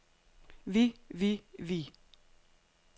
vi vi vi